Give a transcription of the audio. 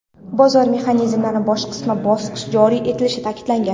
bozor mexanizmlari bosqichma-bosqich joriy etilishi ta’kidlangan.